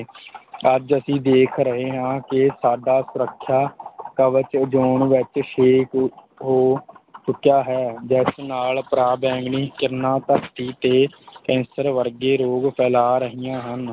ਅੱਜ ਅਸੀਂ ਦੇਖ ਰਹੇਂ ਹਾਂ ਕਿ ਸਾਡਾ ਸੁੱਰਖਿਆ ਕਵਚ ਉਜੋਨ ਵਿੱਚ ਛੇਕ ਹੋ ਚੁੱਕਿਆ ਹੈ ਜਿਸ ਨਾਲ ਪਰਾਂਵੈਂਗਨੀ ਕਿਰਨਾਂ ਧਰਤੀ ਤੇ ਕੈਂਸਰ ਵਰਗੇ ਰੋਗ ਫੈਲਾ ਰਹੀਆਂ ਹਨ।